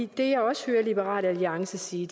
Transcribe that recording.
det jeg også hører liberal alliance sige